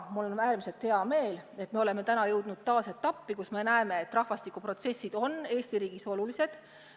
Mul on äärmiselt hea meel, et me oleme täna jõudnud taas etappi, kus me näeme, et rahvastikuprotsessid on Eesti riigis olulised.